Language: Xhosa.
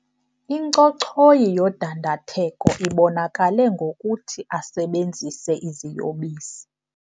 Incochoyi yodandatheko ibonakale ngokuthi asebenzise iziyobisi.